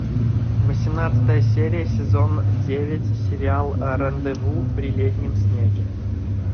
восемнадцатая серия сезон девять сериал рандеву при летнем снеге